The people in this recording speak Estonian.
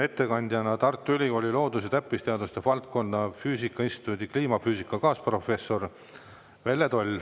Ettekandja on Tartu Ülikooli loodus- ja täppisteaduste valdkonna füüsika instituudi kliimafüüsika kaasprofessor Velle Toll.